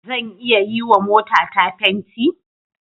Zan iya yiwa motata fenti?